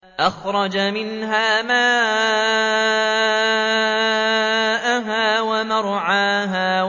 أَخْرَجَ مِنْهَا مَاءَهَا وَمَرْعَاهَا